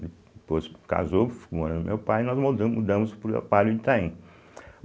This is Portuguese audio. Depois casou, ficou morando o meu pai e nós muda mudamos para o Itaim.